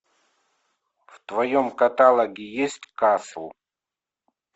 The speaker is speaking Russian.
в твоем каталоге есть касл